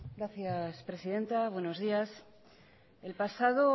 gracias presidenta buenos días el pasado